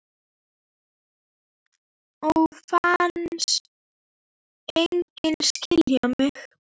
Og fannst enginn skilja mig.